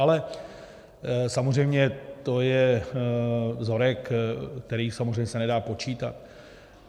Ale samozřejmě to je vzorek, který samozřejmě se nedá počítat.